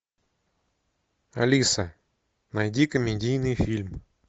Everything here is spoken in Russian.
алиса найди комедийный фильм